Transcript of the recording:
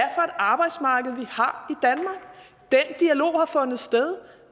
arbejdsmarked vi har fundet sted